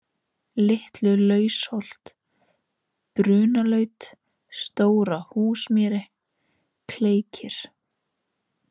Litlulausholt, Brunalaut, Stórhúsmýri, Kleikir